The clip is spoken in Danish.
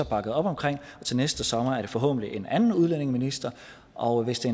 bakket op om til næste sommer er det forhåbentlig en anden udlændingeminister og hvis det